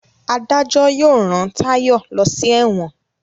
adajo yóò rán Tayo ló sí èwòn.